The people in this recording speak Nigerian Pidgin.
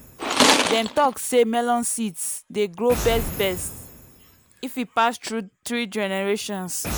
dem talk say melon seeds dey grow best best if e pass through three generations.